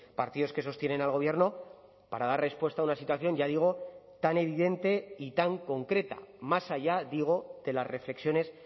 partidos que sostienen al gobierno para dar respuesta a una situación ya digo tan evidente y tan concreta más allá digo de las reflexiones